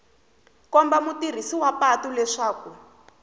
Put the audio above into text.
komba mutirhisi wa patu leswaku